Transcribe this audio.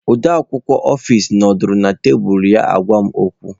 Odeakwụkwọ ọfis nọdụrụ na tebụl ya na-agwa m okwu.